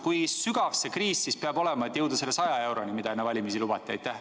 Kui sügav see kriis peab olema, et jõuda selle 100 euroni, mida enne valimisi lubati?